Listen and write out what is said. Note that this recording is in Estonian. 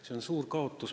See on meile suur kaotus.